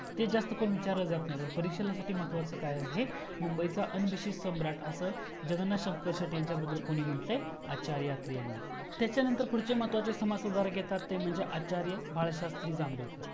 ते जास्त करून विचारलं जात नाही परीक्षेला परीक्षेसाठी महत्वाच काय आहे मुंबईचा deceased सम्राट असं जगन्नाथ शंकर शेटे यांच्या बद्दल कोणी म्हण्ट्लय आचार्य आत्रे यांनी त्याच्यानंतर पुढचे समाज सुधारक येतात ते म्हणजे आचार्य बाळशास्त्री जांभेकर